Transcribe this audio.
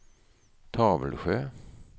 Tavelsjö